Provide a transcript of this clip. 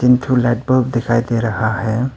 तीन ठो लाइट दिखाई दे रहा है।